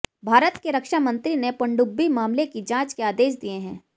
भारत के रक्षामंत्री ने पनडुब्बी मामले की जांच के आदेश दिये हैं